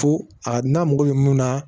Fo a n'a mako bɛ mun na